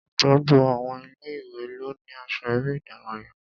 Gbogbo àwọn ilé-ìwé ló ní aṣọ eré ìdárayá